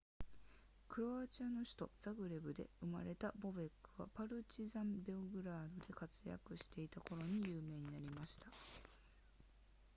クロアチアの首都ザグレブで生まれたボベックはパルチザンベオグラードで活躍していた頃に有名になりました